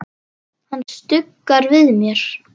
Hann stuggar við mér.